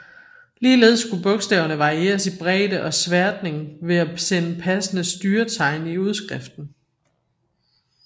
Ligeledes kunne bogstaverne varieres i bredde og sværtning ved at sende passende styretegn i udskriften